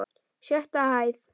Sjötta hæð.